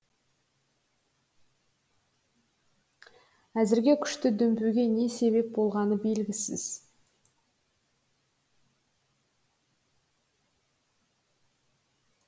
әзірге күшті дүмпуге не себеп болғаны белгісіз